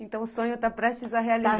Então o sonho tá prestes a realizar.